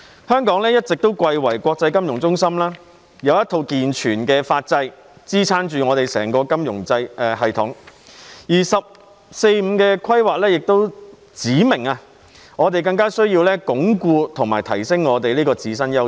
香港一直貴為國際金融中心，有一套健全的法制支撐着我們整個金融系統，而"十四五"規劃亦指明，我們有需要加強鞏固及提升我們這個自身優勢。